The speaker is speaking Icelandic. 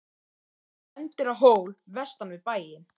Hann bendir á hól vestan við bæinn.